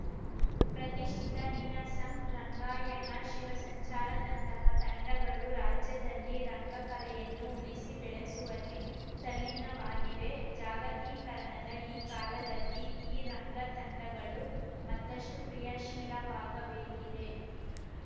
ಪ್ರತಿಷ್ಠಿತ ನೀನಾಸಂ ರಂಗಾಯಣ ಶಿವಸಂಚಾರದಂತಹ ತಂಡಗಳು ರಾಜ್ಯದಲ್ಲಿ ರಂಗ ಕಲೆಯನ್ನು ಉಳಿಸಿ ಬೆಳೆಸುವಲ್ಲಿ ತಲ್ಲೀನವಾಗಿವೆ ಜಾಗತೀಕರಣದ ಈ ಕಾಲದಲ್ಲಿ ಈ ರಂಗ ತಂಡಗಳು ಮತ್ತಷ್ಟುಕ್ರಿಯಾಶೀಲವಾಗ ಬೇಕಿದೆ